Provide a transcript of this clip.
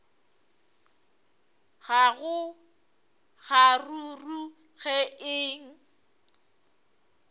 ga go kgaruru ke eng